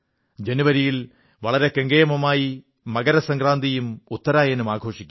ജനുവരിയിൽ വളരെ കെങ്കേമമായി മകരസംക്രാന്തിയും ഉത്തരായനും ആഘോഷിക്കും